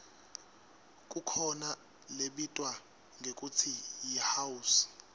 kukhona lebitwa ngekutsi yihouse